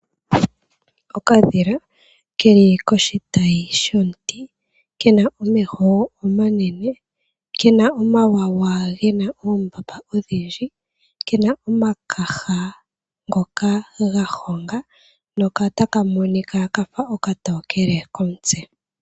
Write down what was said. Okadhila ke li koshitayi shomuti kena omeho omanene, kena omawawa gena oombapa odhindji. Kena omakaha ngoka ga honga notaka monika kafa okatokele komutse.